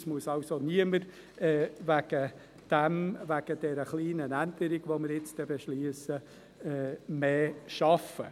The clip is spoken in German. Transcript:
Wegen der kleinen Änderung, welche wir gleich beschliessen, wird also niemand mehr arbeiten müssen.